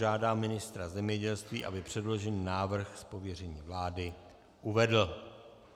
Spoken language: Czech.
Žádám ministra zemědělství, aby předložený návrh z pověření vlády uvedl.